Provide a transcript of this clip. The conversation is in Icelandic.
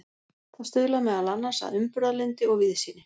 Það stuðlar meðal annars að umburðarlyndi og víðsýni.